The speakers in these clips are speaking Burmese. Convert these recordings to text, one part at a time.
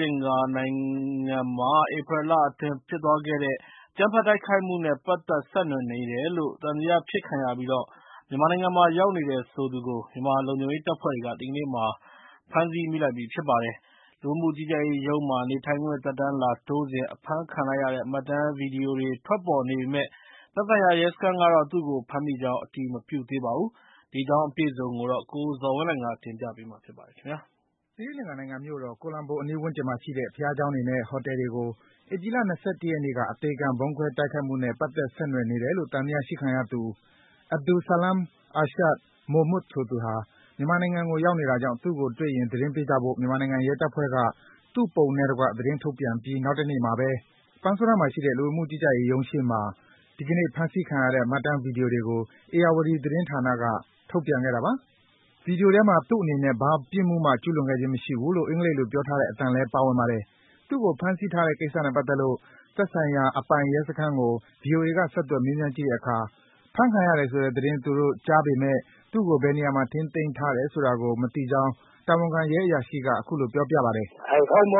လင်္ကာနိုင်ငံမှာ ဧပြီလအတွင်း ဖြစ်သွားခဲ့တဲ့ အကြမ်းဖက်တိုက်ခိုက်မှုနဲ့ ပတ်သက် ဆက်နွယ်နေတယ်လို့ သံသယဖြစ်ခံရပြီး မြန်မာနိုင်ငံမှာ ရောက်နေတယ်ဆိုသူကို မြန်မာလုံခြုံရေးတပ်ဖွဲ့တွေက ဒီကနေ့ ဖမ်းဆီ မိလိုက်ပြီ ဖြစ်ပါတယ်။ လူဝင်မှုကြီးကြပ်ရေးရုံးမှာ နေထိုင်ခွင့် သက်တမ်းလာတိုးစဉ် အဖမ်းခံလိုက်ရတဲ့ မှတ်တမ်း ဗွီဒီယိုတွေထွက်ပေါ်နေပေမယ့် သက်ဆိုင်ရာ ရဲစခန်းကတော့ သူ့ကို ဖမ်းမိကြောင်း အတည်မပြုသေးပါဘူး။ အပြည့်အစုံကိုတော့ ကိုဇော်ဝင်းလှိုင်က တင်ပြပေးပါမယ်။ သီရိလင်္ကာနိုင်ငံမြို့တော် ကိုလံဘိုအနီးဝန်းကျင်မှာရှိတဲ့ ဘုရားကျောင်းတွေနဲ့ ဟိုတယ်တွေကို ဧပြီလ ၂၁ ရက်နေ့က အသေခံ ဗုံးခွဲတိုက်ခိုက်ခဲ့မှုနဲ့ ပတ်သက် ဆက်နွယ်နေတယ်လို့ သံသယရှိခံသူ Abdul Salam Irshad Mohmood ဆိုသူဟာ မြန်မာနိုင်ငံကို ရောက်နေတာကြောင့် သူ့ကိုတွေ့ရင် သတင်းပေးကြဖို့ မြန်မာနိုင်ငံ ရဲတပ်ဖွဲ့က သူ့ပုံနဲ့တကွ သတင်းထုတ်ပြန်ပြီး နောက်တနေ့မှာဘဲ ပန်းဆိုးတန်းမှာရှိတဲ့ လူဝင်မှုကြီးကြပ်ရေးရုံးရှေ့မှာ ဒီကနေ့ ဖမ်းဆီးခံရတဲ့ မှတ်တမ်း ဗွီဒီယိုကို ဧရာဝတီ သတင်းဌာနက ထုတ်ပြန်ခဲ့တာပါ။ ဗွီဒီယိုထဲမှာ သူ့အနေနဲ့ ဘာပြစ်မှုမှ ကျူးလွန်ခဲ့ခြင်းမရှိဘူးလို့ အင်္ဂလိပ်လို ပြောထားတဲ့အသံလည်း ပါဝင်ပါတယ်။ သူ့ကို ဖမ်းဆီးထားတဲ့ကိစ္စနဲ့ပတ်သက်လို့ သက်ဆိုင်ရာအပိုင် ရဲစခန်းကို ဗွီအိုအေက ဆက်သွယ် မေးမြန်းကြည့်တဲ့အခါ ဖမ်းခံရတယ်ဆိုတဲ့သတင်း သူတို့ကြားပေမယ့် သူ့ကို ဘယ်နေရာမှာ ထိန်သိမ်းထားတယ်ဆိုတာကို မသိကြောင်း တာဝန်ခံ ရဲအရာရှိက အခုလို ပြောပါတယ်။ ဖြေ။ ။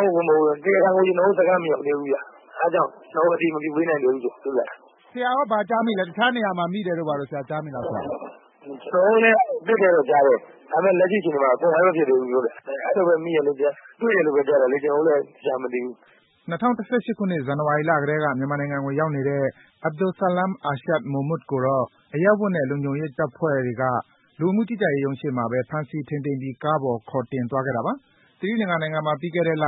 တရားခံက ကျနော်တို့စခန်းမရောက်သေးဘူးခင်ဗျ အဲဒါကြောင့် ကျနော်တို့ အတည်မပြုပေးနိုင်သေးဘူး။ မေး။ ။ ဆရာရော ဘာကြားမိလဲ တခြားနေရာမှာ မိတယ်လို့ကြားမိလား ဖြေ။ ။ ကျနော်တို့လည်း ကြားတယ် ဒါပေမယ့် လက်ရှိအခြေအနေမှာ confirm မဖြစ်သေးဘူး။ အဲလိုပဲ မိတယ် တွေ့တယ်လို့ကြားတာလေ ကျနော်တို့လည်း သေချာမသိဘူး။” ၂၀၁၈ ခုနှစ် ဇန်နဝါရီလကတည်းက မြန်မာနိုင်ငံကို ရောက်နေတဲ့ Abdul Salam Irshad Mohmood ကိုတော့ အရပ်ဝတ်နဲ့ လုံခြုံရေးတပ်ဖွဲ့တွေက လူဝင်မှုကြီးကြပ်ရေးရုံးရှေ့မှာဘဲ ဖမ်းဆီး ထိန်းသိမ်းပြီး ကားပေါ်ခေါ်တင်သွားခဲ့တာပါ။ သီရိလင်္ကာနိုင်ငံမှာ ပြီးခဲ့တလ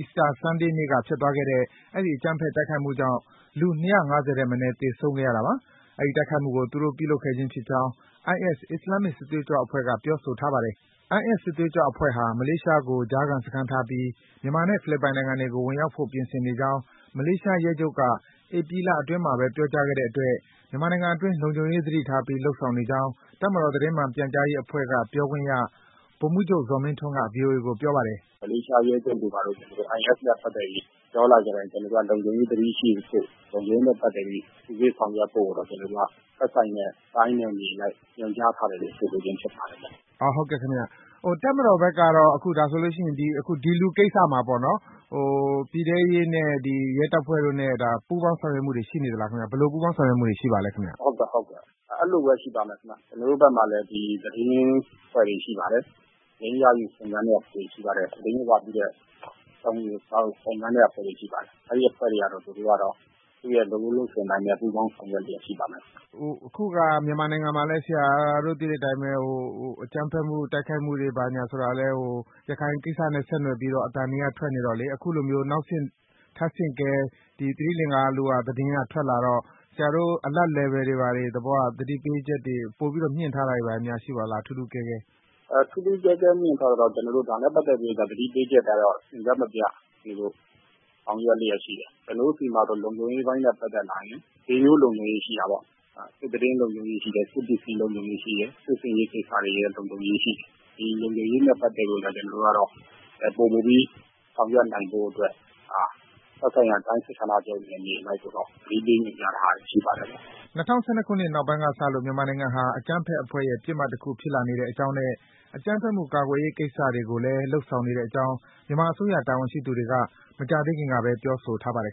Easter Sunday နေ့ကဖြစ်သွားခဲ့တဲ့ အဲဒီ အကြမ်းဖက် တိုက်ခိုက်မှုကြောင့် လူ ၂၅၀ ထက်မနည်း သေဆုံးသွားခဲ့ရတာပါ။ ဒီတိုက်ခိုက်မှုကို သူတို့ ပြုလုပ်ခဲ့ခြင်းဖြစ်ကြောင်း IS အစ္စလာမ်မစ် စစ်သွေးကြွအဖွဲ့က ပြောထားပါတယ်။ IS စစ်သွေးကြွအဖွဲ့ဟာ မလေးရှားကို ကြားစခန်းထားပြီး မြန်မာနဲ့ ဖိလစ်ပိုင်နိုင်ငံတွေကို ဝင်ရောက်ဖို့ ပြင်ဆင်နေကြောင်း မလေးရှားရဲချုပ်က ဧပြီလအတွင်းမှာဘဲ ပြောကြားခဲ့တဲ့အတွက် မြန်မာနိုင်ငံအတွင်း လုံခြုံရေးသတိထားပြီး လုပ်ဆောင်နေကြောင်း တပ်မတော်သတင်းမှန်ပြန်ကြားရေးအဖွဲ့က ပြောခွင့်ရ ဗိုလ်မှူးချုပ် ဇော်မင်းထွန်းက ဗွီအိုအေကို ပြောပါတယ်။ ဗိုလ်မှူးချုပ် ဇော်မင်းထွန်း။ ။ မလေးရှားရဲချုပ်က IS နဲ့ ပတ်သက်ပြီး သွားလာတိုင်း ကျနော်တို့က လုံခြုံရေးသတိရှိဖို့ လုံခြုံရေးနဲ့ ပတ်သက်ပြီး စစ်ဆေးဆောင်ရွက်ဖို့ သက်ဆိုင်ရာ တိုင်းနဲ့ နယ်မြေနဲ့ကို ညွှန်ကြားထားတယ်လို့ ဆိုပါတယ်။ မေး။ ။ ဟုတ်ကဲ့ တပ်မတော်ဘက်ကတော့ ဒီလူကိစ္စမှာပေါ့ ၊ ပြည်ထဲရေးနဲ့ ရဲတပ်ဖွဲ့တို့နဲ့ ပူးပေါင်းဆောင်ရွက်မှုတွေရှိနေသလား ၊ ဘယ်လိုပူးပေါင်းဆောင်ရွက်မှုတွေရှိနေပါသလဲ။ ဗိုလ်မှူးချုပ် ဇော်မင်းထွန်း။ ။ ဟုတ်ကဲ့ အဲလိုပဲ ရှိပါတယ်ခင်ဗျ။ ကျနော်တို့ဘက်မှာလည်း သတင်းအဖွဲ့တွေရှိပါတယ်။ သတင်းရယူစုံစမ်းတဲ့အဖွဲ့တွေရှိပါတယ်။ အဲဒီအဖွဲ့တွေကတော့ သူတို့လုပ်ရိုးလုပ်စဉ်အတိုင်းနဲ့ ပူးပေါင်းဆောင်ရွက်လျက်ရှိပါမယ်။ မေး။ ။ အခုက မြန်မာနိုင်ငံမှာလည်း ဆရာတို့သိတဲ့အတိုင်းပဲ အကြမ်းဖက် တိုက်ခိုက်မှုတွေဆိုတာကလည်း ရခိုင်ကိစ္စနဲ့ ဆက်နွယ်ပြီးတော့ အသံတွေက ထွက်နေတော့ အခုလိုမျိုး နောက် ထပ်ဆင့်ကဲသီရိလင်္ကာ သတင်းတွေထွကလာတော့ ဆရာတို့ Alert level တွေ သတိပေးချက်တွေ ပိုပြီးတော့ မြှင့်ထားတာတွေများရှိပါသလဲ ထူးထူးကဲကဲ။ ဗိုလ်မှူးချုပ် ဇော်မင်းထွန်း။ ။ ထူးထူးကဲကဲမြှင့်ထားတာကတော့ ဒါနဲ့ပတ်သက်ပြီး သတိပေးချက်ကတော့ အဆက်မပျက်ဆောင်ရွက်လျက်ရှိတယ်။ ကျနော်တို့ဆီမှာတော့ လုံခြုံရေးအပိုင်းနဲ့ ပတ်သက်လာရင် ၄ မျိုးလုံခြုံရေးရှိတယ်၊ သတင်းလုံခြုံရေးရှိတယ်၊ စစ်ပစ္စည်းလုံခြုံရေးရှိတယ်၊ စစ်ဆင်ရေးလုံခြုံရေးရှိတယ်။ ဒီလုံခြုံရေးနဲ့ ပတ်သက်ပြီးတော့ ကျနော်တို့ကတော့ ပိုမိုပြီးဆောင်ရွက်နိုင်ဖို့အတွက် သက်ဆိုင်ရာတိုင်းစစ်ဌာနချုပ်ကို နယ်မြေအလိုက် သတင်းပေးနေတာတွေရှိပါတယ်။” ၂ဝ၁၂ခုနှစ်နောက်ပိုင်းကစလို့ မြန်မာနိုင်ငံဟာ အကြမ်းဖက်အဖွဲ့တွေရဲ့ ပစ်မှတ်တခု ဖြစ်လာနေတဲ့အကြောင်းနဲ့ အကြမ်းဖက်မှုကာကွယ်ရေး ကိစ္စတွေကိုလည်း လုပ်ဆောင်နေတဲ့အကြောင်း မြန်မာအစိုးရ တာဝန်ရှိသူတွေက မကြာသေးခင်ကဘဲ ပြောဆိုထားပါတယ်